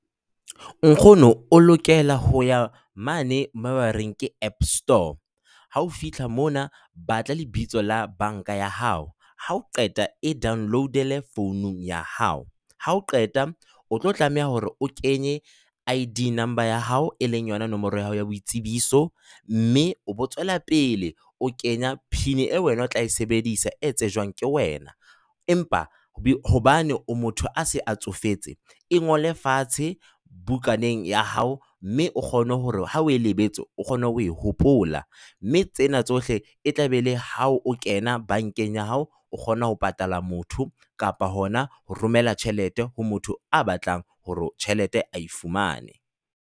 Nkgono o lokela ho ya mane moo ba reng ke App Store. Ha o fihla mona, batla lebitso la banka ya hao. Ha o qeta e download-ele founung ya hao hao. Ha o qeta o tlo tlameha hore o kenye ID number ya hao, e leng yona nomoro ya hao ya boitsebiso, mme o bo tswela pele o kenya PIN eo wena o tla e sebedisa e tsejwang ke wena. Empa hobane o motho a se a tsofetse, e ngole fatshe bukaneng ya hao mme o kgone hore ha o e lebetse, o kgone ho hopola. Mme tsena tsohle e tla be le ha o kena bankeng ya hao, o kgone ho patala motho kapa hona ho romela tjhelete ho motho a batlang hore tjhelete a e fumane.